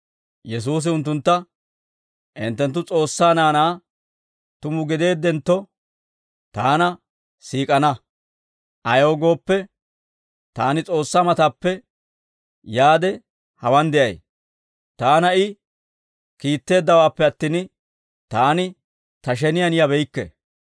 Yesuusi unttuntta, «Hinttenttu S'oossaa naanaa tumu gideeddentto, Taana siik'ana; ayaw gooppe, Taani S'oossaa matappe yaade hawaan de'ay. Taana I kiitteeddawaappe attin, Taani Ta sheniyaan yabeykke.